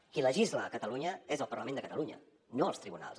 qui legisla a catalunya és el parlament de catalunya no els tribunals